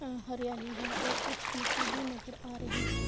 ہریالی ہے اور کچھ مٹی بھی نظر آرہی ہے